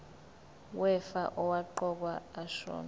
wefa owaqokwa ashona